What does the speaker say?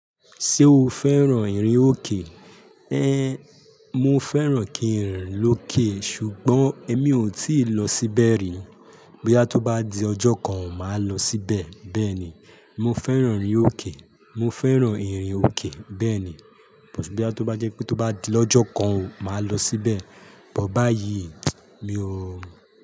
Ṣé o fẹ́ràn ìrìn òkè? Ẹn, mo fẹ́ràn kí ń rìn lókè, ṣùgbọ́n èmi ò tíì lọ síbẹ̀ rí. Boya tó bá di ọjọ́ kan, màá lọ síbẹ̀. Bẹ́ẹ̀ ni, mo fẹ́ràn ìrìn òkè. Mo fẹ́ràn ìrìn òkè, bẹ́ẹ̀ ni. Ṣùgbọ́n to bá jẹ́ pé tó bá di lọjọ́ kan o, màá lọ síbẹ̀. But báyìí, mi ò.